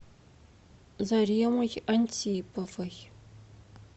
заремой антиповой